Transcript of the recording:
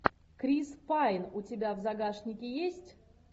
крис пайн у тебя в загашнике есть